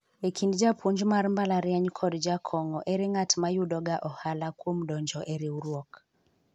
ekind japuonj mar mbalariany kod jakong'o , ere ng'at ma yudo ga ohala kuom donjo e riwruok